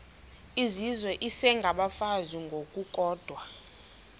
izizwe isengabafazi ngokukodwa